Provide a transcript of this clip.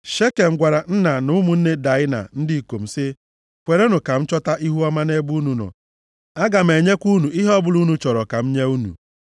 Shekem gwara nna na ụmụnne Daịna ndị ikom sị, “Kwerenụ ka m chọta ihuọma nʼebe unu nọ, aga m enyekwa unu ihe ọbụla unu chọrọ ka m nye unu.